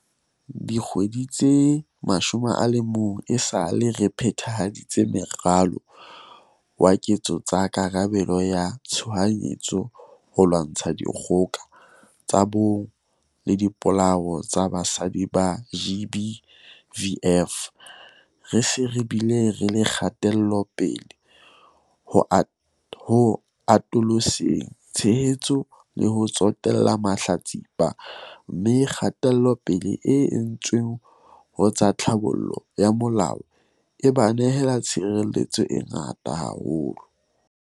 Dikgwedi tse 11 esale re phe-thahaditse Moralo wa Ketso tsa Karabelo ya Tshohanyetso ho lwantsha dikgoka tsa bong le dipolao tsa basadi, GBVF, re se re bile le kgatelopele ho atoloseng tshehetso le ho tsotella mahlatsipa, mme kgatelopele e entsweng ho tsa tlhabollo ya molao e ba nehela tshireletso e ngata haholo.